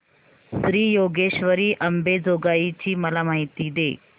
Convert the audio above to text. श्री योगेश्वरी अंबेजोगाई ची मला माहिती दे